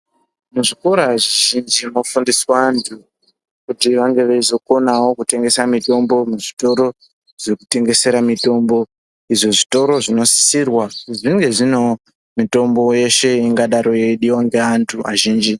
Muzvikora zvizhinji zvinofundise andu kuti vange veizokonawo kutengesa mutombo muzvitoro zvekutengesa mutombo izvo zvitoro zvinosirwa kuti zvinge zvinewo mutombo yeshe angadai yeidiwa ngevandu azhinji.